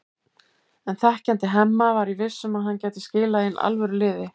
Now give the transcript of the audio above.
En þekkjandi Hemma var ég viss um að hann gæti skilað inn alvöru liði.